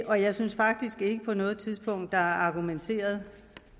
og jeg synes faktisk ikke på noget tidspunkt er argumenteret